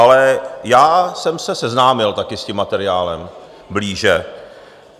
Ale já jsem se seznámil také s tím materiálem blíže.